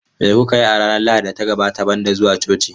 Me kuka yi a ranar Lahadin da ta gabata banda zuwa coci?.